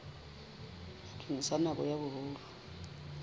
bakeng sa nako ya boholo